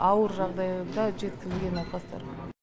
ауыр жағдайда жеткізілген науқастар